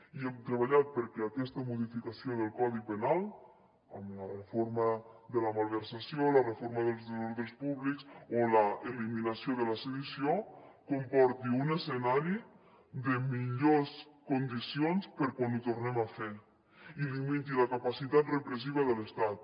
i hem treballat perquè aquesta modificació del codi penal amb la reforma de la malversació la reforma dels desordres públics o l’eliminació de la sedició comporti un escenari de millors condicions per a quan ho tornem a fer i limiti la capacitat repressiva de l’estat